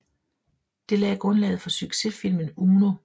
Det lagde grundlaget for sucsessfilmen Uno